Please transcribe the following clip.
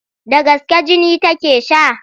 Da gaske jini take sha?